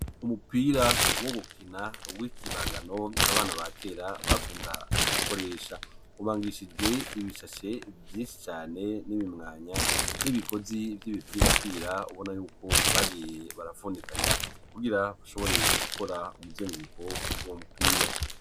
Umupira wo gukina uw' ikibangano abana ba kera bakundaga gukoresha ubangishijwe ibishashe vyeshi cane n'ibimwanya n'ibigozi vy'ibipirapira ubona yuko bagiye barapfundikanya kugira kushoboreye gukora umuzengruko ugiza uwu mupira.